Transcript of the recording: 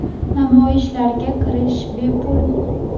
Namoyishlarga kirish bepul.